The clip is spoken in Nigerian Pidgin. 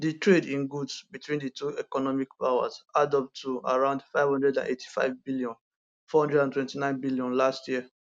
di trade in goods between di two economic powers add up to around 585bn 429bn last year